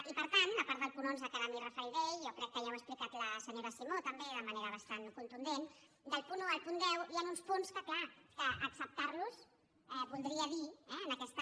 i per tant a part del punt onze que ara m’hi referiré jo crec que ja ho ha explicat la senyora simó també de manera bastant contundent del punt un al punt deu hi han uns punts que clar acceptar los voldria dir en aquesta